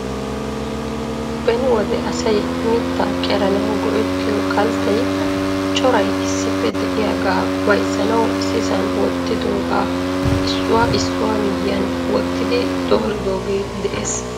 Beni wode asay mitta qeranaw go"ettiyo kalttay coray issippe de'iyaaga bayzzanaw issisan wottidooga issuwaa issuwa miyyiyan wottidi dooridooge de'ees .